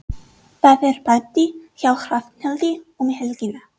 Það er partí hjá Hrafnhildi um helgina.